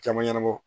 Caman ɲɛnabɔ